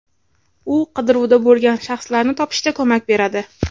U qidiruvda bo‘lgan shaxslarni topishda ko‘mak beradi.